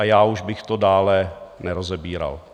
A já už bych to dále nerozebíral.